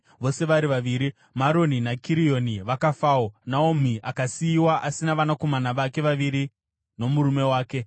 vose vari vaviri, Maroni naKirioni vakafawo, Naomi akasiyiwa asina vanakomana vake vaviri nomurume wake.